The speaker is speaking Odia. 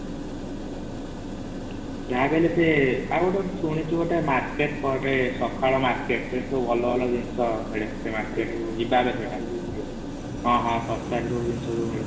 ହଁ ଶସ୍ତା ରେ ସବୁ ଜିନିଷ ମିଳେ |